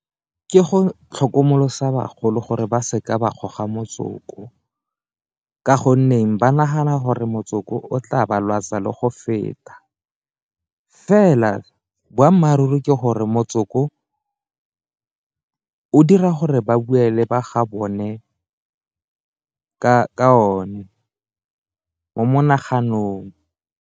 Ke go itlhokomolosa bagolo gore ba seka ba goga motsoko ka gonne nneng ba nagana gore motsoko o tla ba lwatsa le go feta, fela boammaaruri ke gore motsoko o dira gore ba boele ba ga bone ka o ne mo monaganong.